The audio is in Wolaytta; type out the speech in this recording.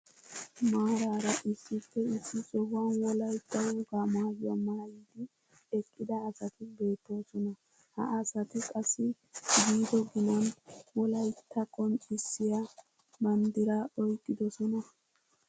Maarara issippe issi sohuwaan wolaytta wogaa maayuwaa maayidi eqqida asati beettoosona. ha asati qassi giddo ginan wolaytta qonccisiyaa banddiraa oyqqidosona.